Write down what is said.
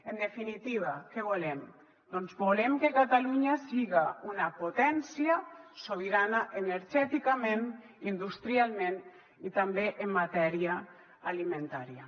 en definitiva què volem doncs volem que catalunya siga una potència sobirana energèticament industrialment i també en matèria alimentària